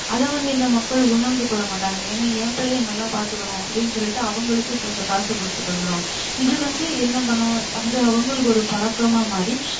அத வந்து இந்த மக்கள் உணர்ந்து கொள்ளமாட்டங்க ஏன்னா ஏன் பிள்ளைய நல்லா பத்துக்கனும் அப்டினு சொல்லிட்டு அவுங்களுக்கு கொஞ்சம் காசு குடுத்துட்டு வந்திருவாங்க இது வந்து என்ன பன்னனும் அது அவுங்களுக்கு ஒரு பழக்கமா மாரி